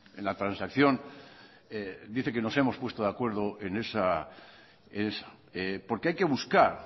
en la transacción dice que nos hemos puesto de acuerdo en esa porque hay que buscar